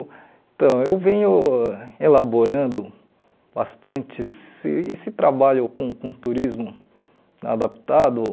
Então, eu venho elaborando bastante esse esse trabalho com com turismo adaptado.